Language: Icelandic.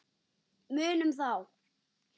Munum þá.